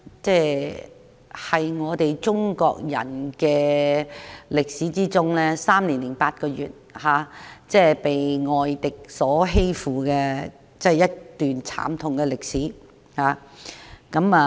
中國人經歷了3年8個月被外敵欺負的一段慘痛歷史。